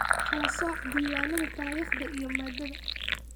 Kala sooc Diiwaannada taariikhda iyo maaddada.